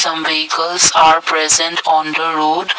some vehicles are present on the road.